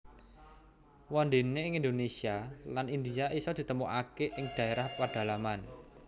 Wondene ing Indonesia lan India iso ditemukake ing daerah pedalaman